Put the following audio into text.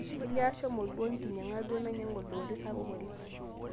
Olly ashomo duo enkinyang'a duo nainyang'u oldooli sapuk oleng